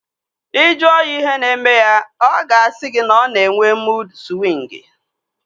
Ị jụọ ya ihe na-eme ya, ọ ga-asị gị na ọ na-enwe muud swịngi